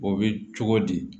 O bɛ cogo di